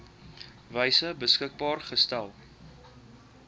wyse beskikbaar gestel